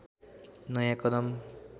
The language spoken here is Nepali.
नयाँ कदम